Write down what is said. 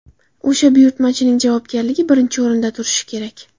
O‘sha buyurtmachining javobgarligi birinchi o‘rinda turishi kerak.